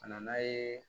A nana ye